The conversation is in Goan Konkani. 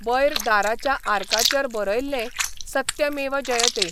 वयर दाराच्या आर्काचेर बरयल्लें सत्यमेव जयते !